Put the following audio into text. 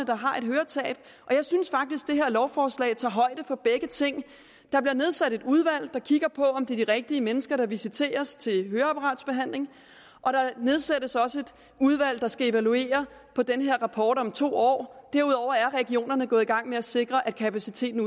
der har et høretab og jeg synes faktisk at det her lovforslag tager højde for begge ting der bliver nedsat et udvalg der kigger på om det er de rigtige mennesker der visiteres til høreapparatbehandling og der nedsættes også et udvalg der skal evaluere den her rapport om to år derudover er regionerne gået i gang med at sikre at kapaciteten